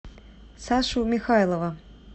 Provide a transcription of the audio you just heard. сашу михайлова